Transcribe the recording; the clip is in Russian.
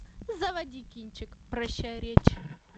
заводи кинчик прощай речь